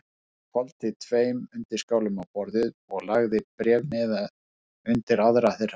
Hann hvolfdi tveim undirskálum á borðið og lagði bréfmiða undir aðra þeirra.